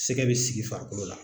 Sɛgɛ bɛ sigi farikolo la.